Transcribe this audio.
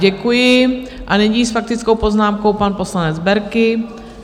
Děkuji a nyní s faktickou poznámkou pan poslanec Berki.